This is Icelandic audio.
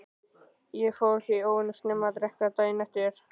Ég fór því óvenju snemma að drekka daginn eftir.